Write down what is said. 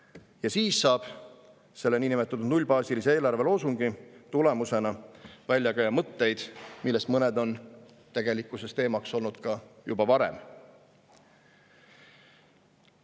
Ja siis saab selle niinimetatud nullbaasilise eelarve loosungi tulemusena välja käia mõtteid, millest mõned on tegelikkuses teemaks olnud ka juba varem.